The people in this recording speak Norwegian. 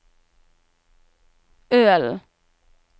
Ølen